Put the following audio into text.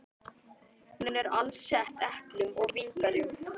Hún er alsett eplum og vínberjum.